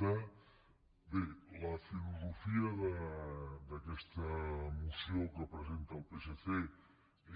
bé la filosofia d’aquesta moció que presenta el psc